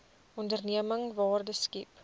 onderneming waarde skep